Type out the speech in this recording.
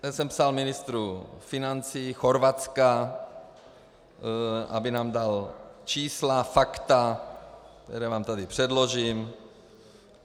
Já jsem psal ministru financí Chorvatska, aby nám dal čísla, fakta, která vám tady předložím.